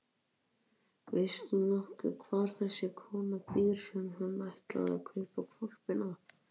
Veist þú nokkuð hvar þessi kona býr sem hann ætlaði að kaupa hvolpinn af?